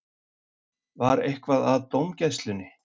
Var eitthvað að dómgæslunni?